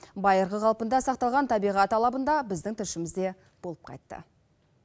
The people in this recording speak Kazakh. байырғы қалпында сақталған табиғат алабында біздің тілшіміз де болып қайтты